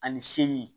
Ani seli